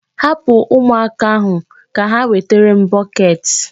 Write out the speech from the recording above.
Hapụ ụmụaka ahụ ka ha wetara m bọket.